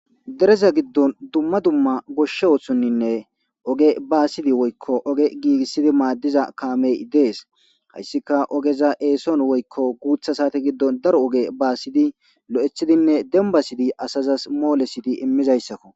Dereza giddoni dumma dumma goshshe oththoninne oge basid woyikko gigisid madiza kamey dees hayisikka ogeza eson woyikko guththa sate giddoni daro oge basid loeththinne demibasid asazas molesid imizayisakko